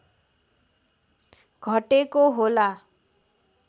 घटेको होला